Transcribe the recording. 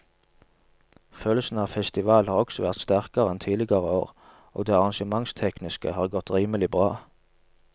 Følelsen av festival har også vært sterkere enn tidligere år og det arrangementstekniske har godt rimelig bra.